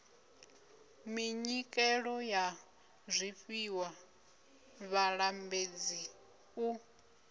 minyikelo ya zwifhiwa vhalambedzi u